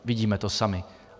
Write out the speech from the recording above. Vidíme to sami.